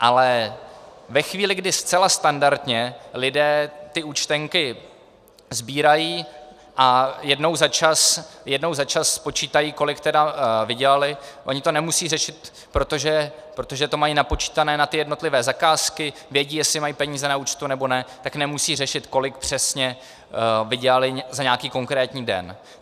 Ale ve chvíli, kdy zcela standardně lidé ty účtenky sbírají a jednou za čas spočítají, kolik teda vydělali, oni to nemusí řešit, protože to mají napočítané na ty jednotlivé zakázky, vědí, jestli mají peníze na účtu nebo ne, tak nemusí řešit, kolik přesně vydělali za nějaký konkrétní den.